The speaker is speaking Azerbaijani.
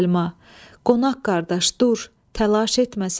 Səlma, qonaq qardaş dur, təlaş etməsən.